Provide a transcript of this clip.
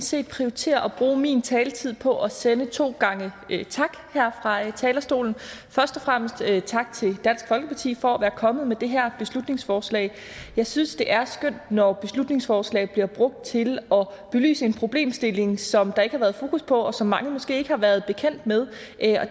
set prioritere at bruge min taletid på at sende to gange tak her fra talerstolen først og fremmest tak til dansk folkeparti for at være kommet med det her beslutningsforslag jeg synes det er skønt når beslutningsforslag bliver brugt til at belyse en problemstilling som der ikke har været fokus på og som mange måske ikke har været bekendt med